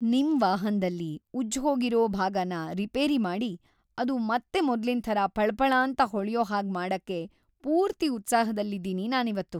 ನಿಮ್‌ ವಾಹನ್ದಲ್ಲಿ ಉಜ್ಜ್‌ಹೋಗಿರೋ ಭಾಗನ ರಿಪೇರಿ ಮಾಡಿ ಅದು ಮತ್ತೆ ಮೊದ್ಲಿನ್‌ ಥರ ಫಳಫಳಾಂತ ಹೊಳ್ಯೋ‌ ಹಾಗ್‌ ಮಾಡಕ್ಕೆ ಪೂರ್ತಿ ಉತ್ಸಾಹದಲ್ಲಿದೀನಿ ನಾನಿವತ್ತು!